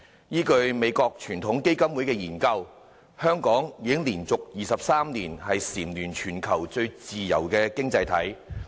依據美國傳統基金會的研究，香港已經連續23年蟬聯全球最自由經濟體。